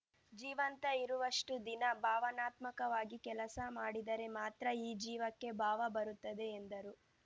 ಜೀವಂತ ಇರುವಷ್ಟುದಿನ ಭಾವನಾತ್ಮಕವಾಗಿ ಕೆಲಸ ಮಾಡಿದರೆ ಮಾತ್ರ ಈ ಜೀವಕ್ಕೆ ಭಾವ ಬರುತ್ತದೆ ಎಂದರು